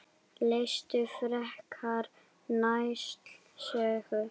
Lestu frekar Njáls sögu